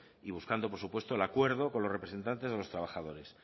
y buscando por supuesto el acuerdo con los representantes de los trabajadores